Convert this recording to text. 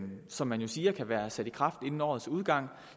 som man jo siger kan være sat i gang inden årets udgang